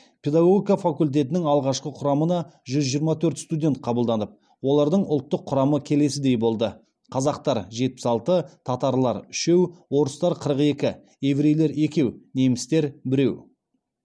педагогика факультетінің алғашқы құрамына жүз жиырма төрт студент қабылданып олардың ұлттық құрамы келесідей болды қазақтар жетпіс алты татарлар үшеу орыстар қырық екі еврейлер екеу немістер біреу